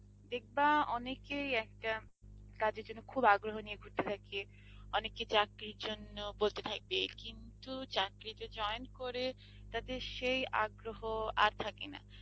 দেখবা অনেকেই একটা কাজের জন্য খুব আগ্রহ নিয়ে করতে থাকে, অনেকে চাকরির জন্য বলতে থাকবে কিন্তু চাকরিতে join করে তাদের সেই আগ্রহ আর থাকে না